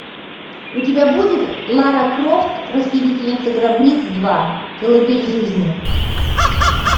у тебя будет лара крофт расхитительница гробниц два колыбель жизни